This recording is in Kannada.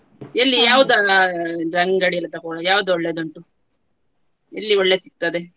ಎಲ್ಲಿ ಯಾವದಲ್ಲ ಅಂಗಡಿಯಲ್ಲಿ ತೆಕೊಳೋದು ಯಾವ್ದು ಒಳ್ಳೇದುಂಟು ಎಲ್ಲಿ ಒಳ್ಳೇದು ಸಿಗ್ತದೆ.